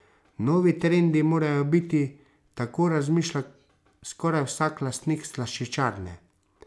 Novi trendi morajo biti, tako razmišlja skoraj vsak lastnik slaščičarne.